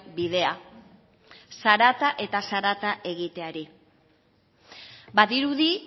bidea zarata eta zarata egiteari badirudi